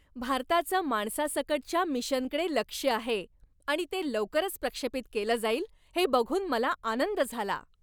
भारताचं माणसासकटच्या मिशनकडे लक्ष्य आहे आणि ते लवकरच प्रक्षेपित केलं जाईल हे बघून मला आनंद झाला.